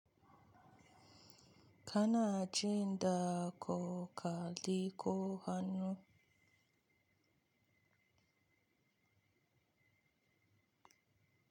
Kana aji da koko liko hannu.